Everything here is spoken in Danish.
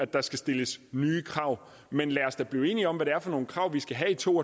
der skal stilles nye krav men lad os da blive enige om hvad det er for nogle krav vi skal have i to